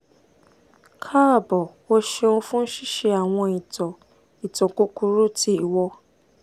kaabo o ṣeun fun ṣiṣe awọn itan itan kukuru ti iwọ